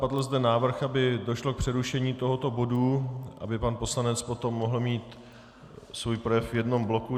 Padl zde návrh, aby došlo k přerušení tohoto bodu, aby pan poslanec potom mohl mít svůj projev v jednom bloku.